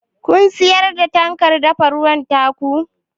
Kun siyar da fankar dafa ruwan ta ku?